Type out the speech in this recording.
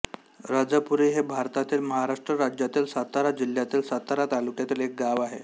राजापुरी हे भारतातील महाराष्ट्र राज्यातील सातारा जिल्ह्यातील सातारा तालुक्यातील एक गाव आहे